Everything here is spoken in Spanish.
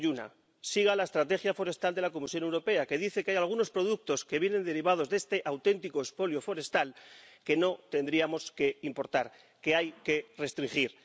Yo le doy una. Siga la estrategia forestal de la Comisión Europea, que dice que hay algunos productos que vienen derivados de este auténtico expolio forestal que no tendríamos que importar, que hay que restringir.